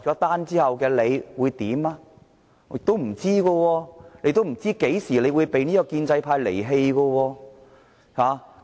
不知道，他也不知道何時會被建制派離棄。